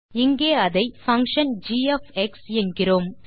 இங்கே அதை function G என்கிறோம்